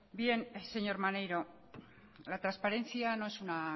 bien señor maneiro la transparencia no es una